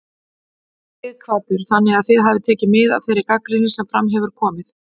Sighvatur: Þannig að þið hafið tekið mið af þeirri gagnrýni sem fram hefur komið?